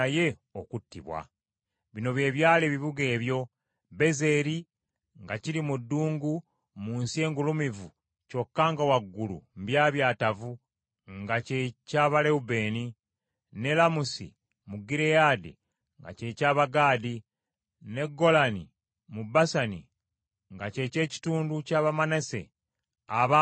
Bino bye byali ebibuga ebyo: Bezeri, nga kiri mu ddungu mu nsi engulumivu kyokka nga waggulu mbyabyatavu, nga kye ky’Abalewubeeni; ne Lamusi mu Gireyaadi, nga kye ky’Abagaadi; ne Golani mu Basani, nga ky’ekitundu ky’Abamanase abaagabana oluuyi olwo.